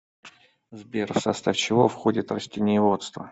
сбер в состав чего входит растениеводство